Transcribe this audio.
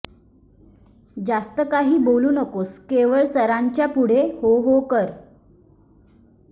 जास्त काही बोलू नकोस केवळ सरांच्या पुढे हो हो कर